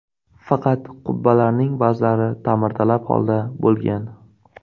Faqat qubbalarning ba’zilari ta’mirtalab holda bo‘lgan.